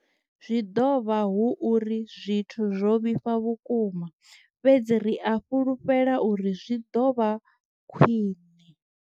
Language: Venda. Zwi ḓovha hu uri zwithu zwo vhifha vhukuma fhedzi ri a fhulufhela uri zwi ḓo vha khwiṋe.